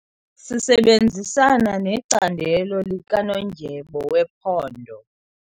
Sisebenzisana necandelo likanondyebo wephondo.